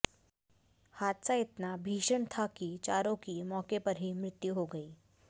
हादसा इतना भीषण था कि चारों की मौके पर ही मृत्यु हो गई